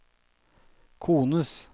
kones